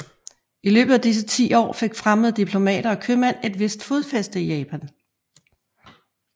I løbet af disse ti år fik fremmede diplomater og købmænd et vist fodfæste i Japan